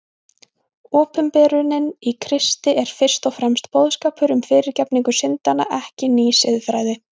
Opinberunin í Kristi er fyrst og fremst boðskapur um fyrirgefningu syndanna, ekki ný siðfræði.